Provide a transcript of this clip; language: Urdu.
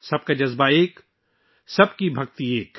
سب کے جذبات متفق ہیں، سب کی عقیدت یکجا ہے